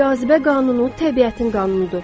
Cazibə qanunu təbiətin qanunudur.